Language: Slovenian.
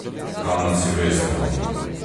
Kam na silvestrovo?